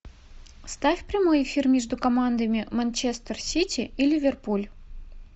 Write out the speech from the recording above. ставь прямой эфир между командами манчестер сити и ливерпуль